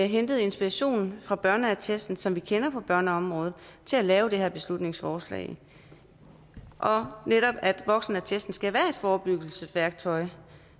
hentet inspiration fra børneattesten som vi kender fra børneområdet til at lave det her beslutningsforslag og voksenattesten skal netop være et forebyggelsesværktøj